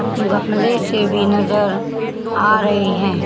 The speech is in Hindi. गमले से भी नजर आ रहे हैं।